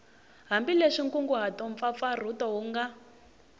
hambileswi nkunguhato mpfapfarhuto wu nga